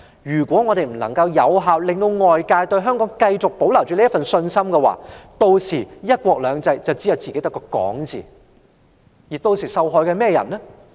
如果我們不能夠有效地令外界對香港繼續抱有信心，"一國兩制"只會是我們自己說的空話。